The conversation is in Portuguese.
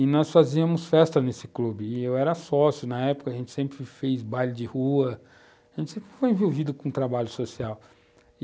E nós fazíamos festa nesse clube, e eu era sócio na época, a gente sempre fez baile de rua, a gente sempre foi envolvido com o trabalho social.